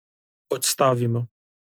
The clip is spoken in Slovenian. Odstavimo.